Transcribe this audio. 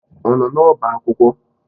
Ọ nọ n'ọba akwụkwọ?